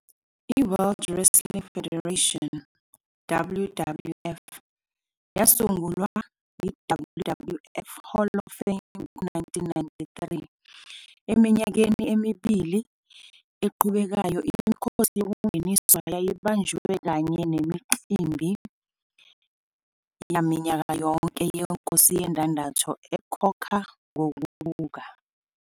I- World Wrestling Federation, WWF, yasungula i-WWF Hall of Fame ngo-1993. Eminyakeni emibili eqhubekayo, imikhosi yokungeniswa yayibanjwe kanye nemicimbi yaminyaka yonke yeNkosi Yendandatho ekhokha ngokubuka.